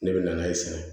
Ne bɛ na n'a ye sisan